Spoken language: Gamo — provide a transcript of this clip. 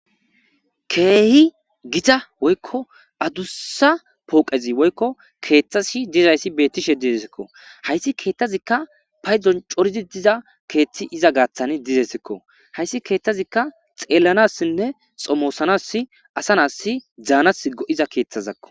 keehi gita woykko adussa pooqezi woykko keeththasi dizayssi bettishe didesekko hayssi keetthazikka paydon corizi diza keethti iza gaaththan dizesekko hayssi keeththazikka xeellanassinne xomoosanas asanas dzaanas go7iza keeththazakko